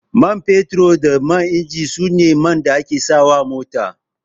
Man fetur da man injin su ne man da ake sa wa mota